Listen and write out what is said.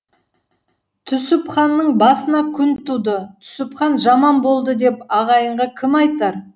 түсіпханның басына күн туды түсіпхан жаман болды деп ағайынға кім айтар